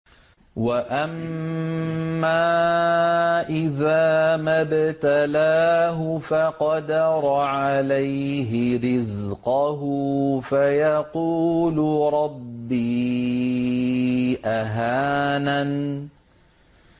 وَأَمَّا إِذَا مَا ابْتَلَاهُ فَقَدَرَ عَلَيْهِ رِزْقَهُ فَيَقُولُ رَبِّي أَهَانَنِ